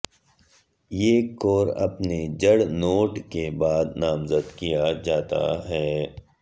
ایک کور اپنے جڑ نوٹ کے بعد نامزد کیا جاتا ہے